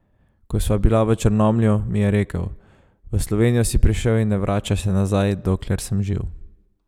Ko sva bila v Črnomlju, mi je rekel: "V Slovenijo si prišel in ne vračaš se nazaj, dokler sem živ.